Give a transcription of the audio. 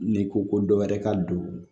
N'i ko ko dɔ wɛrɛ ka don